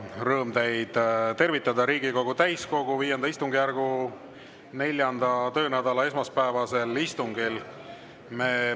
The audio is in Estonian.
Rõõm teid tervitada Riigikogu täiskogu V istungjärgu 4. töönädala esmaspäevasel istungil.